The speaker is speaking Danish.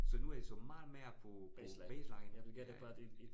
Så nu er de så meget mere på baseline øh